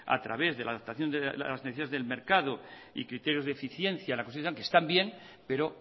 a través de la adaptación a las necesidades del mercado y criterios de eficiencia que están bien pero